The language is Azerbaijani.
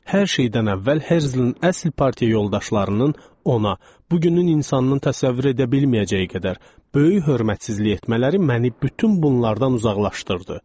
Hər şeydən əvvəl Herzelin əsl partiya yoldaşlarının ona, bugünün insanının təsəvvür edə bilməyəcəyi qədər böyük hörmətsizlik etmələri məni bütün bunlardan uzaqlaşdırdı.